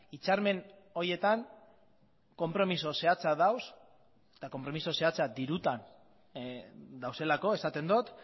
hitzarmen horietan konpromezu zehatza daude eta konpromezu zehatza dirutan daudelako esaten dut